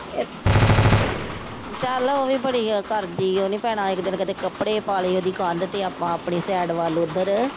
ਚੱਲ ਉਹ ਵੀ ਵਧੀਆ ਕਰਦੀ ਆ। ਉਹਨੇ ਭੈਣਾਂ ਇੱਕ ਦਿਨ ਕਦੇ ਕੱਪੜੇ ਪਾ ਲਏ ਉਹਦੀ ਕੰਧ ਤੇ ਆਪਾਂ ਆਪਣੀ ਸਾਈਡ ਵੱਲ ਓਧਰ।